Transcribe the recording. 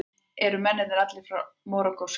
Eru mennirnir allir Marokkóskir